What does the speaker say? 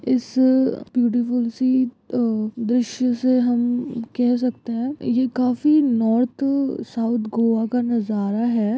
इस ब्यूटीफुल से दृश्य से हम कह सकते हैं यह काफी नॉर्थ साउथ गोवा का नज़ारा है।